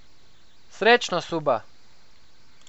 Srečno, Suba!